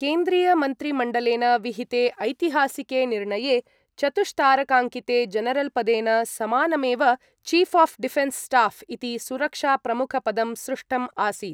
केन्द्रीयमन्त्रिमण्डलेन विहिते ऐतिहासके निर्णये चतुष्तारकाङ्किते जनरल्पदेन समानमेव चीफ् आफ् डिफेनस् स्टाफ् इति सुरक्षाप्रमुखपदं सृष्टम् आसीत्।